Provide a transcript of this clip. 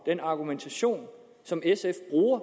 den argumentation som sf bruger